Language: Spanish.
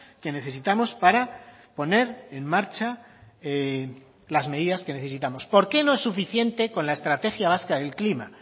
que necesitamos para poner en marcha las medidas que necesitamos por qué no es suficiente con la estrategia vasca del clima